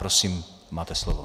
Prosím, máte slovo.